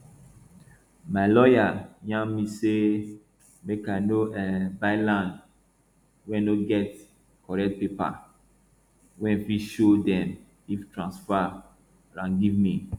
my lawyer yarn me say make i no um buy land wey no get correct paper wey fit show dem fit transfer am give me